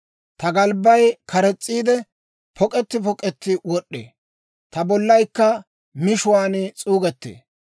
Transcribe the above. Ta galbbay kares's'iide, pok'etti pok'etti wod'd'ee; ta bollaykka mishuwaan s'uugettee.